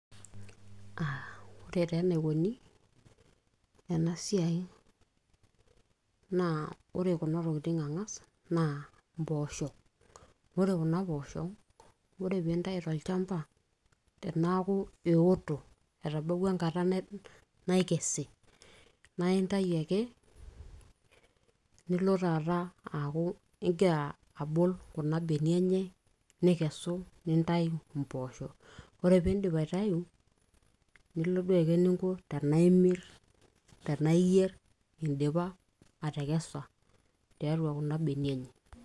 aa ore taa enaikoni ena siai naa ore kuna tokitin ang'as naa impoosho ore kuna poosho ore piintayu tolchamba tenaaku eoto etabawua enkata naikesi naa intai ake nilo taata aaku ingira abol kuna benia enye nikesu nintayu impoosho ore piindip aitayu nilo duo aiko eninko tenaa imirr tenaa iyierr indipa atekesa tiatua kuna benia enye.